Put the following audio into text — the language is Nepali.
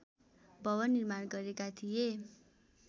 भवन निर्माण गरेका थिए